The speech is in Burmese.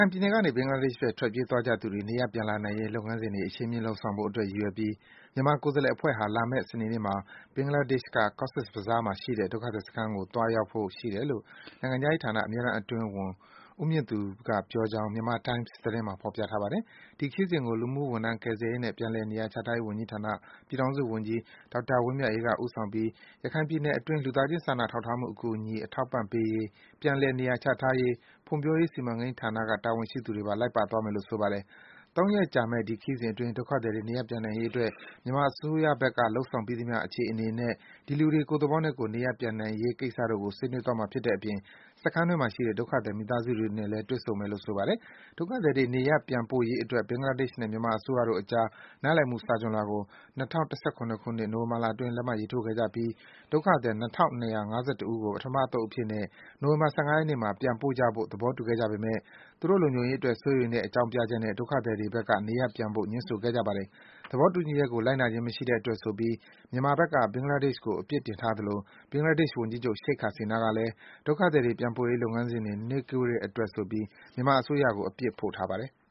င်ပြည်နယ်ကနေ ဘင်္ဂလားဒေ့ရှ်ဘက် ထွက်ပြေးသွားကြသူတွေ နေရပ်ပြန်လာနိုင်ရေး လုပ်ငန်းစဉ်တွေ အရှိန်မြင့်လုပ်ဆောင်ဖို့အတွက် ရည်ရွယ်ပြီး မြန်မာကိုယ်စားလှယ်အဖွဲ့ဟာ လာမယ့် စနေနေ့မှာ ဘင်္ဂလားဒေ့ရှ်က Cox’s Bazar မှာရှိတဲ့ ဒုက္ခသည်စခန်းကို သွားရောက်ဖို့ ရှိတယ်လို့ နိုင်ငံခြားရေးဌာန အမြဲတမ်းအတွင်းဝန် ဦးမြင့်သူကပြောကြောင်း Myanmar Times သတင်းမှာ ဖော်ပြထားပါတယ်။ ဒီခရီးစဉ်ကို လူမှုဝန်ထမ်းကယ်ဆယ်ရေးနှင့် ပြန်လည်နေရာချထားရေးဝန်ကြီးဌာန ပြည်ထောင်စုဝန်ကြီး ဒေါက်တာ ဝင်းမြတ်အေးက ဦးဆောင်ပြီး ရခိုင်ပြည်နယ်အတွင်း လူသားချင်းစာနာထောက်ထားမှု အကူအညီ အထောက်အပံ့ပေးရေး၊ ပြန်လည် နေရာချထားရေး၊ ဖွံ့ဖြိုးရေး စီမံကိန်းဌာနက တာဝန်ရှိသူတွေပါ လိုက်ပါသွားမယ်လို့ ဆိုပါတယ်။ ၃ ရက်ကြာမယ့် ဒီခရီးစဉ်အတွင်း ဒုက္ခသည်တွေ နေရပ်ပြန်နိုင်ရေးအတွက် မြန်မာအစိုးရဘက်က လုပ်ဆောင်ပြီးသမျှ အခြေအနေနဲ့ ဒီလူတွေ ကိုယ့်သဘောနဲ့ကိုယ် နေရပ်ပြန်နိုင်ရေးကိစ္စတို့ကို ဆွေးနွေးသွားမှာဖြစ်တဲ့အပြင် စခန်းအတွင်းမှာရှိတဲ့ ဒုက္ခသည် မိသားစုတွေနဲ့လည်း တွေ့ဆုံသွားမယ်လို့ ဆိုပါတယ်။ ဒုက္ခသည်တွေ နေရပ်ပြန်ပို့ရေးအတွက် ဘင်္ဂလားဒေ့ရှ်နဲ့ မြန်မာအစိုးရတို့အကြား နားလည်မှုစာချွန်လွှာကို ၂၀၁၇ ခုနှစ်၊ နိုဝင်ဘာလအတွင်း လက်မှတ်ရေးထိုးခဲ့ကြပြီး ဒုက္ခသည် ၂,၂၅၁ ဦးကို ပထမအသုတ်အဖြစ်နဲ့ နိုဝင်ဘာ ၁၅ ရက်နေ့မှာ ပြန်ပို့ကြဖို့ သဘောတူခဲ့ကြပေမယ့် သူတို့ လုံခြုံရေးအတွက် စိုးရိမ်တဲ့အကြောင်းပြချက်နဲ့ ဒုက္ခသည်တွေဘက်က နေရပ်ပြန်ဖို့ ငြင်းဆိုခဲ့ကြတာပါ။ သဘောတူညီချက်ကို လိုက်နာခြင်းမရှိတဲ့အတွက်ဆိုပြီး မြန်မာဘက်က ဘင်္ဂလားဒေ့ရှ်ကို အပြစ်တင်ထားသလို ဘင်္ဂလားဒေ့ရှ် ဝန်ကြီးချုပ် Sheikh Hasina ကလည်း ဒုက္ခသည်တွေပြန်ပို့ရေး လုပ်ငန်းစဉ်တွေ နှေးကွေးတဲ့အတွက်ဆိုပြီး မြန်မာအစိုးရကို အပြစ်ဖို့ထားပါတယ်။